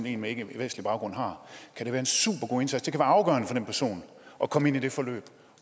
en med ikkevestlig baggrund har kan det være en supergod indsats det kan være afgørende for den person at komme ind i det forløb